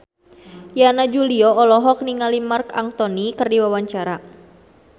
Yana Julio olohok ningali Marc Anthony keur diwawancara